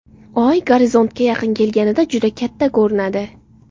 Oy gorizontga yaqin kelganida juda katta ko‘rinadi.